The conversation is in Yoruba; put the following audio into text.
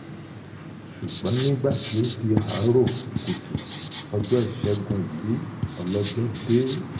ṣùgbọ́n nígbà tó di àárò kùtù ọjọ́ ìṣègùn yìí ọlọ́jọ́ dé